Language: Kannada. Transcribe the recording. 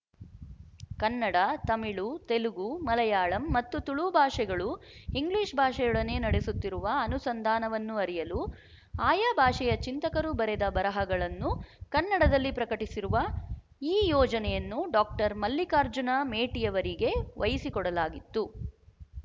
ಕನ್ನಡ ತಮಿಳು ತೆಲುಗು ಮಲಯಾಳಂ ಮತ್ತು ತುಳು ಭಾಷೆಗಳು ಇಂಗ್ಲಿಶ ಭಾಷೆಯೊಡನೆ ನಡೆಸುತ್ತಿರುವ ಅನುಸಂಧಾನವನ್ನು ಅರಿಯಲು ಆಯಾ ಭಾಷೆಯ ಚಿಂತಕರು ಬರೆದ ಬರಹಗಳನ್ನು ಕನ್ನಡದಲ್ಲಿ ಪ್ರಕಟಿಸಿರುವ ಈ ಯೋಜನೆಯನ್ನು ಡಾಕ್ಟರ್ ಮಲ್ಲಿಕಾರ್ಜುನ ಮೇಟಿಯವರಿಗೆ ವಹಿಸಿಕೊಡಲಾಗಿತ್ತು